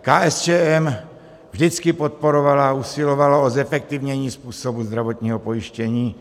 KSČM vždycky podporovala a usilovala o zefektivnění způsobu zdravotního pojištění,